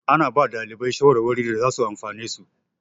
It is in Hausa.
Ana ba ɗalibai shawarwari da zasu amfane su.